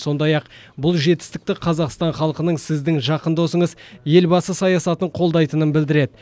сондай ақ бұл жетістікті қазақстан халқының сіздің жақын досыңыз елбасы саясатын қолдайтынын білдіреді